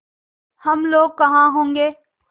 हम लोग कहाँ होंगे